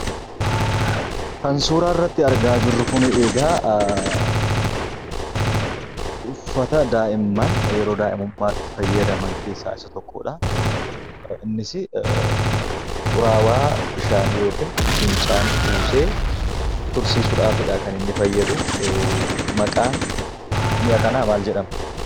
Kan, suuraa irratti argaa jirru kun, eegaa uffata da'imman, yeroo da'imummaa itti fayyadaman keessa isa tokkodha. innis xuraawwaa bishaanii yookiin fincaan kuusee tursiisufidha kaniinni fayyadu. Maqaan mi'a kanaa mal jedhama?